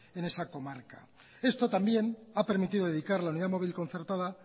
en esa comarca esto también ha permitido dedicar la unidad móvil concertada